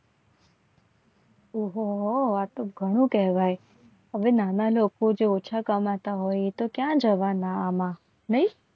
ઓહો વાતો ઘણું કહેવાય હવે નાના લોકો જે ઓછા કમાતા હોય તો ક્યાં જવાના આમાં નહિ.